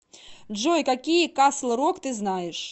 джой какие касл рок ты знаешь